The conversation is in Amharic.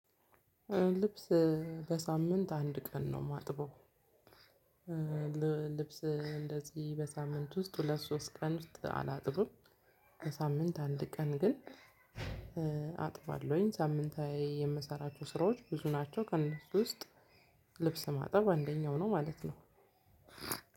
ልብስ በሳምንት አንድ ቀን ነው የማጥበው። ልብስ እንደዚህ በሳምንት ውስጥ ሁለት ሶስት ቀን ውስጥ አላጥብም። በሳምንት አንድ ቀን ግን አጥባለሁኝ ሳምንታዊ የምሰራቸው ስራዎች ብዙ ናቸው ከነሱ ውስጥ ልብስ ማጠብ አንደኛው ነው። ማለት ነው።